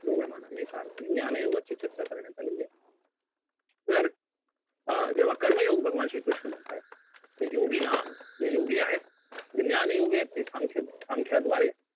ढोबळमानाने एका अर्थी ज्ञान योगाची चर्चा करण्यात आलेली आहे तर अं जेव्हा कर्मयोग भगवान श्री कृष्ण म्हणतायेत योगिनाम जे योगी आहेत जे ज्ञान योगी आहेत ते सांख्य संख्याद्वारे